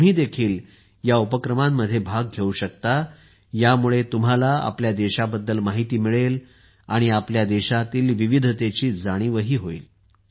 तुम्हीही या उपक्रमांमध्ये भाग घेऊ शकता यामुळे तुम्हाला आपल्या देशाबद्दल माहिती मिळेल आणि आपल्या देशातील विविधतेचीही जाणीव होईल